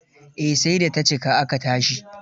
Eh, sai da ta cika aka tashi.